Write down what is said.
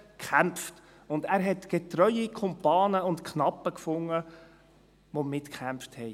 Er fand getreue Kumpane und Knappen, die mitkämpften.